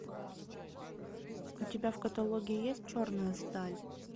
у тебя в каталоге есть черная сталь